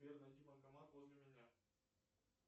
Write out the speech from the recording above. сбер найди банкомат возле меня